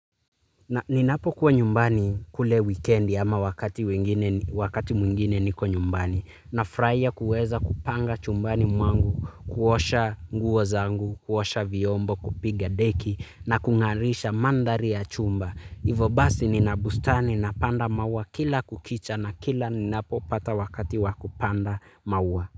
Ninapo kuwa nyumbani kule wikendi ama wakati mwingine niko nyumbani na furaia kuweza kupanga chumbani mwangu, kuosha nguo zangu, kuosha viombo, kupiga deki na kungarisha mandhari ya chumba. Ivo basi nina bustani napanda maua kila kukicha na kila ninapo pata wakati wakupanda maua.